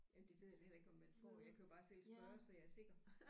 Jamen det ved jeg da heller ikke om man får jeg kan jo bare selv spørge så jeg er sikker